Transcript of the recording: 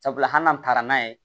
Sabula hali n'an taara n'a ye